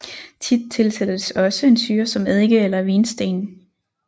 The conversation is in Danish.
Tit tilsættes også en syre som eddike eller vinsten